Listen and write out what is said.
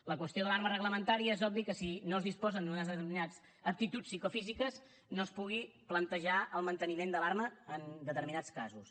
la qüestió de l’arma reglamentària és obvi que si no es disposen d’unes determinades aptituds psicofísiques no es pugui plantejar el manteniment de l’arma en determinats casos